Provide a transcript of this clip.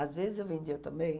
Às vezes eu vendia também.